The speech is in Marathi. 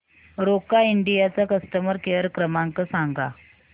रोका इंडिया चा कस्टमर केअर क्रमांक सांगा